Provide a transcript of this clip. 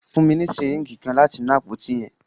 Fun mi ni syringe kan lati inu apoti yẹn.